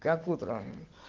как утром